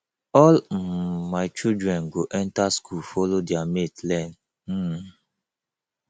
all um my children go enter school follow their mate learn um